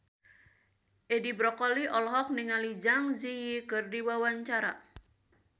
Edi Brokoli olohok ningali Zang Zi Yi keur diwawancara